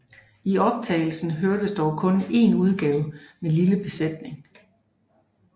I optagelsen høres dog kun en udgave med lille besætning